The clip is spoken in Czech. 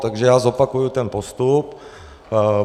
Takže já zopakuji ten postup.